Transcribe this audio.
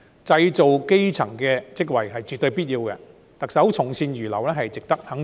製造基層職位絕對有必要，特首從善如流值得肯定。